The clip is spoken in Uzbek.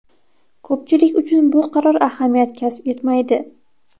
Ko‘pchilik uchun bu qaror ahamiyat kasb etmaydi.